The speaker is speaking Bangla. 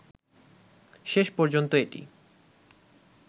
শেষ পর্যন্ত এটি